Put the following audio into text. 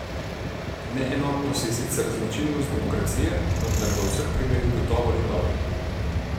Neenotnost je sicer značilnost demokracije, vendar v vseh primerih gotovo ni dobra.